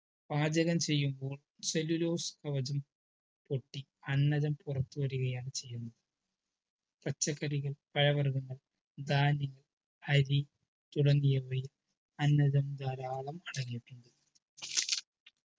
പാചകം ചെയ്യുമ്പോൾ cellulose കവജം പൊട്ടി അന്നജം പുറത്തു വരുകയാണ് ചെയ്യുന്നത് പച്ചക്കറികൾ പഴവർഗങ്ങൾ ധാന്യങ്ങൾ അരി തുടങ്ങിയവയും അന്നജം ധരാളം അടങ്ങീട്ടുണ്ട്